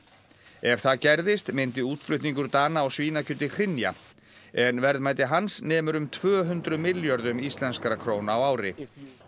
ef það gerðist myndi útflutningur Dana á svínakjöti hrynja en verðmæti hans nemur um tvö hundruð milljörðum íslenskra króna á ári